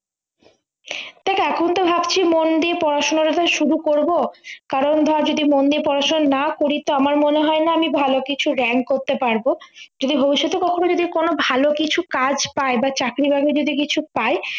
দেখ এখন তো ভাবছি মন দিয়ে পড়াশুনো ব্যাপারে শুরু করব কারণ ধরে যদি মন দিয়ে পড়াশোনা না করি তো আমার মনে হয়না আমি ভালো কিছু rank করতে পারবো যদি ভবিষ্যতে কখনও যদি কোনো ভাল কিছু কাজ পাই বা চাকরি বাকরি যদি কিছু পাই